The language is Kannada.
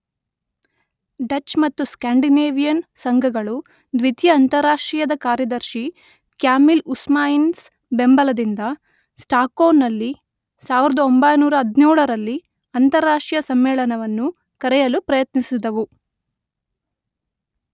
ಡಚ್ ಮತ್ತು ಸ್ಕ್ಯಾಂಡಿನೇವಿಯನ್ ಸಂಘಗಳು ದ್ವಿತೀಯ ಅಂತಾರಾಷ್ಟ್ರೀಯದ ಕಾರ್ಯದರ್ಶಿ ಕ್ಯಾಮಿಲ್ ಹ್ಯೂಸ್ಮಾನ್ಸ್‌ನ ಬೆಂಬಲದಿಂದ ಸ್ಟಾಕ್ಹೋಂನಲ್ಲಿ ಸಾವಿರದೊಂಬೈನೂರ ಹದಿನೇಳರಲ್ಲಿ ಅಂತಾರಾಷ್ಟ್ರೀಯ ಸಮ್ಮೇಳನವನ್ನು ಕರೆಯಲು ಪ್ರಯತ್ನಿಸಿದುವು.